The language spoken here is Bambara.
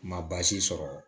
Ma baasi sɔrɔ